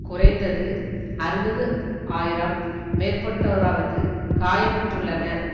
குறைந்தது அறுபது ஆயிரம் மேற்பட்டோராவது காயமுற்றுள்ளனர்